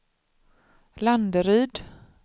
Landeryd